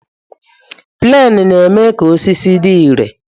Plenu na-eme ka osisi dị ire